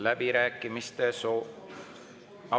Läbirääkimiste soovi …